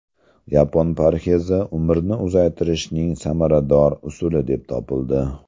Yapon parhezi umrni uzaytirishning samarador usuli deb topildi.